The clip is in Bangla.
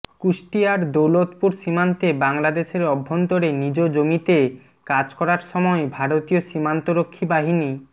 কুষ্টিয়ার দৌলতপুর সীমান্তে বাংলাদেশের অভ্যন্তরে নিজ জমিতে কাজ করার সময় ভারতীয় সীমান্তরক্ষী বাহিনী